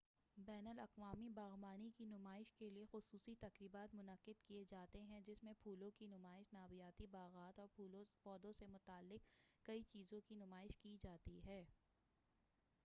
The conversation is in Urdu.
بین الاقوامی باغبانی کی نمائش کیلئے خصوصی تقریبات منعقد کیے جاتے ہیں جس میں پھولوں کی نمائش نباتیاتی باغات اور پودوں سے متعلق کئی چیزوں کی نمائش کی جاتی ہے